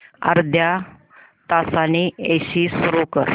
अर्ध्या तासाने एसी सुरू कर